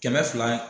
Kɛmɛ fila